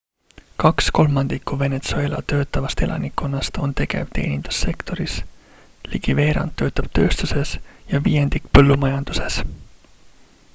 kaks kolmandikku venezuela töötavast elanikkonnast on tegev teenindussektoris ligi veerand töötab tööstuses ja viiendik põllumajanduses